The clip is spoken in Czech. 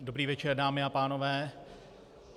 Dobrý večer, dámy a pánové.